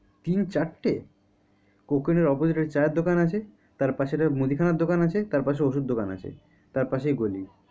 তিন চারটে? coke oven এর পাশে চা এর দোকান আছে তার পাশে মুদিখানার দোকান আছে তার পাশে ওষুধ দোকান আছে তার পাশেই গলি।